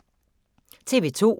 TV 2